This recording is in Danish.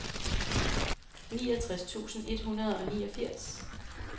niogtres tusind et hundrede og niogfirs